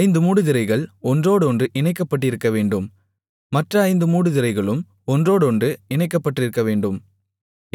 ஐந்து மூடுதிரைகள் ஒன்றோடொன்று இணைக்கப்பட்டிருக்கவேண்டும் மற்ற ஐந்து மூடுதிரைகளும் ஒன்றோடொன்று இணைக்கப்பட்டிருக்கவேண்டும்